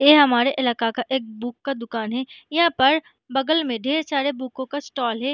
यह हमारे इलाका का एक बुक का दुकान है यहाँ पर बगल में ढेर सारे बुकों का स्टाल है।